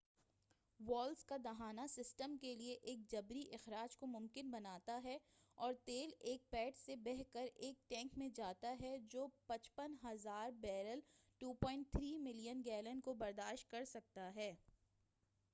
Valves کا دہانہ system کے لئے ایک جبری اخراج کو ممکن بناتا ہے اور تیل ایک پیڈ سے بہہ کر ایک ٹینک میں جاتا ہے جو 55,000 بیرل 2.3 ملین گیلن کو برداشت کر سکتا ہے۔